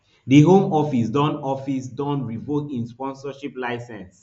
di home office don office don revoke im sponsorship licence